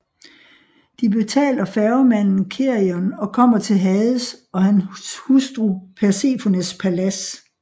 De betaler færgemanden Cherion og kommer til Hades og hans hustru Persefones palads